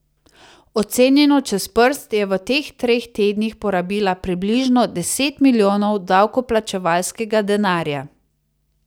Ocenjeno čez prst je v teh treh tednih porabila približno deset milijonov davkoplačevalskega denarja.